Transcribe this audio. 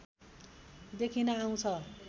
देखिन आउँछ